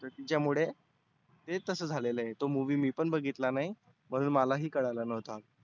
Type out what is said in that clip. त्याच्यामुळे ते तसं झालेलं आहे. तो movie मी पण बघितला नाही म्हणून मलाही कळालं नव्हतं.